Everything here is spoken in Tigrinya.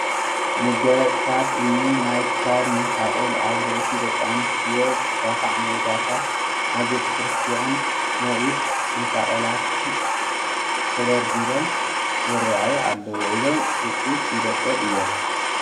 መጋየፅታትን እኒ ናይ ክሳድ መሳቕል፣ ኣብ ርእሲ ደቂ ኣንስትዮ ዝስካዑ ሚዶታትን ናይ ቤተ ክርስቲያን ናይ ኢድ መሳቕላትን ተደርዲሮም ይርአዩ ኣለዉ፡፡ እዞም ውፅኢት ኢደ ጥበብ እዮም፡፡